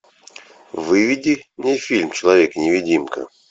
выведи мне фильм человек невидимка